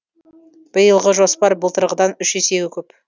биылғы жоспар былтырғыдан үш есеге көп